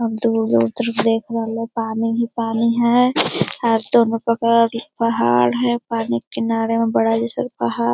अ दुगो उधर देख रहलै पानी ही पानी है। अ दोनों बगल पहाड़ है पानी किनारे में बड़ा जइसन पहाड़ --